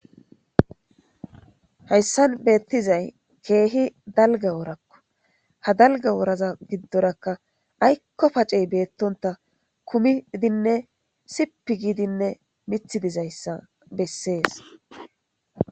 hayssan beettizay keehi dalga woorakko ha dalga wooraza giddorakka aykko pacey beettonta kumidinne sipi giidinne mithi dizayssa bessees